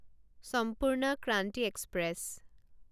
সম্পূৰ্ণ ক্ৰান্তি এক্সপ্ৰেছ